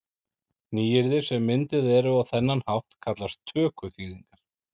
Nýyrði sem mynduð eru á þennan hátt kallast tökuþýðingar.